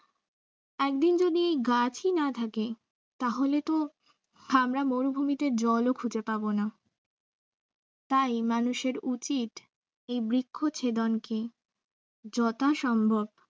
একদিন যদি গাছই না থাকে তাহলে তো আমরা মরুভূমিতে জলও খুঁজে পাবে তাই মানুষের উচিত এই বৃক্ষ ছেদনকে যথাসম্ভব